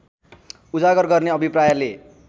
उजागर गर्ने अभिप्रायले